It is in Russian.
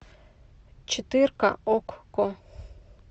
четырка окко